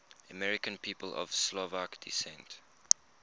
american people of slovak descent